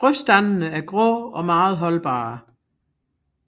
Frøstandene er grå og meget holdbare